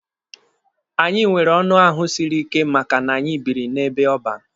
Anyị nwere ọnụ ahụ siri ike maka na anyị biri n'ebe ọban.